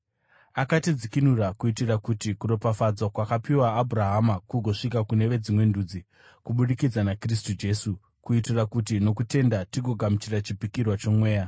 Akatidzikinura kuitira kuti kuropafadzwa kwakapiwa Abhurahama kugosvika kune veDzimwe Ndudzi kubudikidza naKristu Jesu, kuitira kuti nokutenda tigogamuchira chipikirwa choMweya.